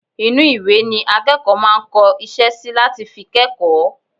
inú ìwé ni akẹ́kọ̀ọ́ máa ń kọ iṣẹ́ sí láti fi kẹ́kọ̀ọ́